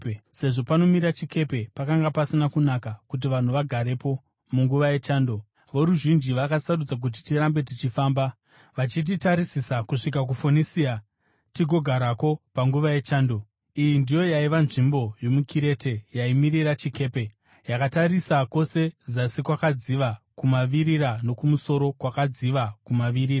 Sezvo panomira chikepe pakanga pasina kunaka kuti vanhu vagarepo munguva yechando, voruzhinji vakasarudza kuti tirambe tichifamba, vachitarisira kusvika kuFonisia tigogarako panguva yechando. Iyi ndiyo yaiva nzvimbo yomuKirete yaimirira chikepe, yakatarisa kwose zasi kwakadziva kumavirira nokumusoro kwakadziva kumavirira.